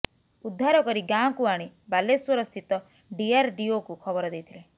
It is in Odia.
ଉଦ୍ଧାର କରି ଗାଁକୁ ଆଣି ବାଲେଶ୍ବର ସ୍ଥିତ ଡିଆରଡିଓକୁ ଖବର ଦେଇଥିଲେ